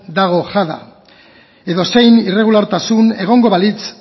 dago jada edozein irregulartasuna egongo balitz